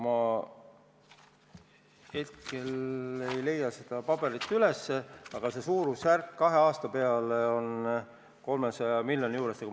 Ma ei leia hetkel seda paberit üles, aga kahe aasta peale kokku on see summa umbes 300 miljonit.